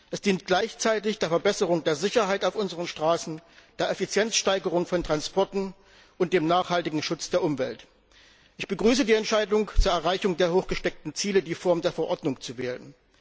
Es dient gleichzeitig der Verbesserung der Sicherheit auf unseren Straßen, der Effizienzsteigerung von Transporten und dem nachhaltigen Schutz der Umwelt. Ich begrüße die Entscheidung, zur Erreichung der hochgesteckten Ziele die Form der Verordnung zu wählen.